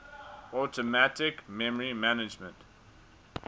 automatic memory management